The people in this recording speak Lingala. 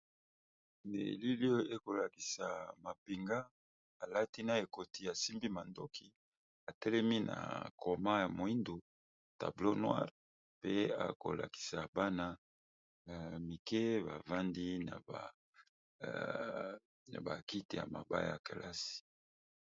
nelilio ekolakisa mapinga alati na ekoti ya simbi mandoki atelemi na coma ya moindu tablea noire pe akolakisa bana ya mike bavandi na bakite ya maba ya kelasi